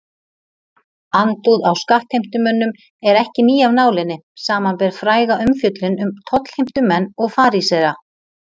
Andúð á skattheimtumönnum er ekki ný af nálinni samanber fræga umfjöllun um tollheimtumenn og farísea.